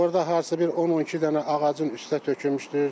Orda hardasa bir 10-12 dənə ağacın üstə tökülmüşdür.